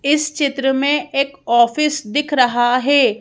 इस चित्र में एक ऑफिस दिख रहा है।